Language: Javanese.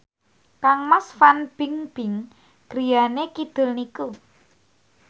kangmas Fan Bingbing griyane kidul niku